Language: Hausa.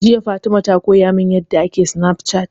Jiya Fatima ta koya min yanda ake Snafcat